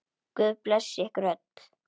Guð blessi ykkur öll.